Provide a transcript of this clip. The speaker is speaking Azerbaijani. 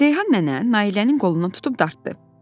Reyhan nənə Nailənin qolundan tutub dartdı.